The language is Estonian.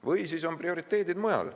Või siis on prioriteedid mujal.